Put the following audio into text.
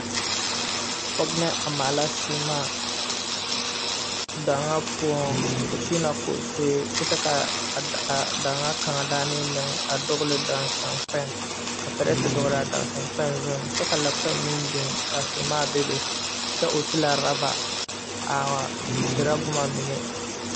Pɔge a maala sèèmaa daŋaa poɔŋ o kyiinɛ koosee a kyɛ kaa a daŋaa kaŋa daanee meŋ a dugle daasankpɛŋ ka pirɛte dɔglaa daasankpɛɛ zuŋ kyɛ la kpɛŋ meŋ biŋ ka sèèmaa bebe kyɛ o ti la rɔba aa erɛ boma mine.